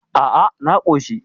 A a, na koshi